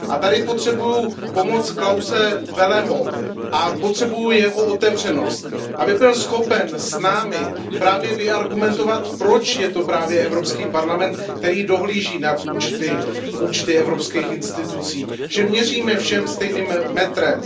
A tady potřebuji pomoc Klause Welleho a potřebuju jeho otevřenost, aby byl schopen s námi vyargumentovat, proč je to právě Evropský parlament, který dohlíží nad účty evropských institucí, že měříme všem stejným metrem.